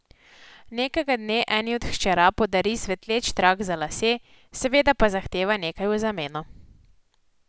Nekega dne eni od hčera podari svetleč trak za lase, seveda pa zahteva nekaj v zameno ...